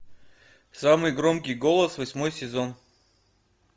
самый громкий голос восьмой сезон